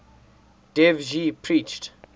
dev ji preached